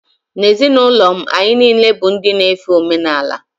N’ezinụlọ m, anyị niile bụ ndị na-efe omenala